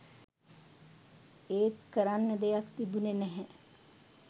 ඒත් කරන්න දෙයක් තිබුණෙ නැහැ